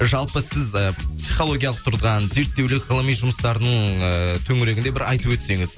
жалпы сіз і психологиялық тұрғыдан зерттеулер ғылыми жұмыстардың ы төңірегінде бір айтып өтсеңіз